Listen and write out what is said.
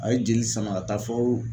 A ye jeli sama ka taa fɔ